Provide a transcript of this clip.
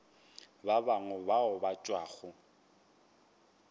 ba bangwe bao ba tšwago